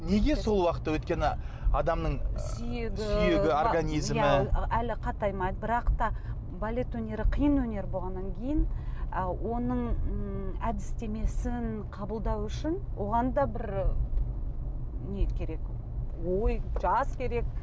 неге сол уақытта өйткені адамның сүйегі сүйегі организмі әлі қатаймайды бірақ та балет өнері қиын өнер болғаннан кейін ы оның ммм әдістемесін қабылдау үшін оған да бір не керек ой жас керек